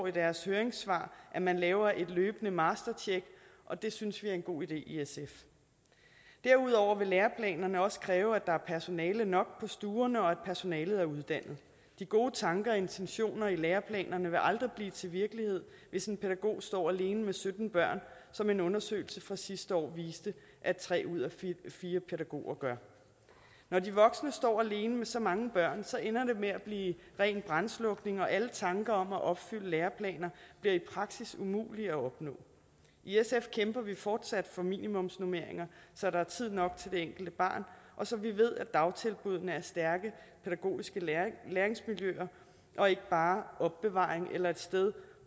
i deres høringssvar at man laver et løbende mastertjek og det synes vi er en god idé i sf derudover vil læreplanerne også kræve at der er personale nok på stuerne og at personalet er uddannet de gode tanker og intentioner i læreplanerne vil aldrig blive til virkelighed hvis en pædagog står alene med sytten børn som en undersøgelse fra sidste år viste tre ud af fire pædagoger gør når de voksne står alene med så mange børn ender det med at blive ren brandslukning og alle tanker om at opfylde læreplaner bliver i praksis umulige at opnå i sf kæmper vi fortsat for minimumsnormeringer så der er tid nok til det enkelte barn og så vi ved at dagtilbuddene er stærke pædagogiske læringsmiljøer og ikke bare opbevaring eller et sted